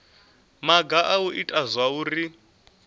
maga a u ita zwauri